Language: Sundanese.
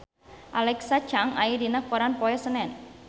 Alexa Chung aya dina koran poe Senen